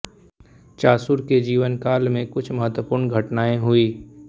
चासुर के जीवनकाल में कुछ महत्वपूर्ण घटनाएँ हुई